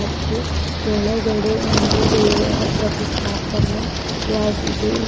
ಮತ್ತು ಕೆಳಗಡೆ ಒಂದು ದೇವರ ಪ್ರತಿಷ್ಠಾಪನೆಯಾಗಿದೆ ಇಲ್--